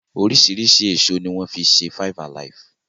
Oriṣiriṣi èso ni wọ́n fi ṣe Five alive.